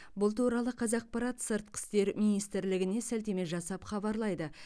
бұл туралы қазақпарат сыртқы істер министрлігіне сілтеме жасап хабарлайды